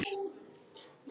Svaka dúllur!